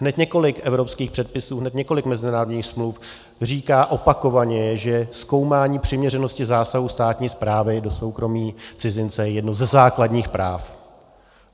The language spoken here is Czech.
Hned několik evropských předpisů, hned několik mezinárodních smluv říká opakovaně, že zkoumání přiměřenosti zásahu státní správy do soukromí cizince je jedním ze základních práv.